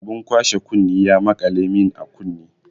Abun kwashe kunne ya maƙale mun a kunne.